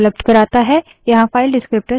यहाँ file descriptor विवरणक शून्य 0 है